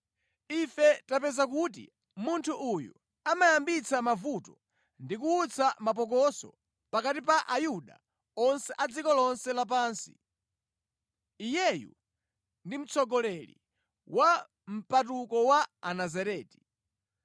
“Ife tapeza kuti munthu uyu amayambitsa mavuto ndi kuwutsa mapokoso pakati pa Ayuda onse a dziko lonse lapansi. Iyeyu ndi mtsogoleri wa mpatuko wa Anazareti.